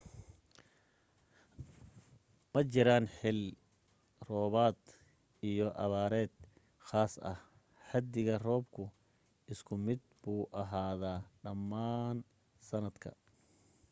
ma jiraan xill roobaad iyo abaareed khaas ah xaddiga roobku isku mid buu ahaadaa dhammaan sanadka